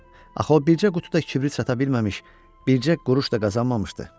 Axı o bircə qutu da kibrit sata bilməmiş, bircə quruş da qazanmamışdı.